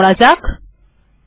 এবার এটি করা যাক